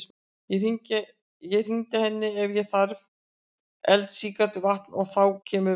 Ég hringi henni ef ég þarf eld, sígarettu, vatn. og þá kemur vörðurinn.